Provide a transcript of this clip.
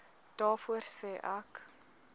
daarvoor sê ek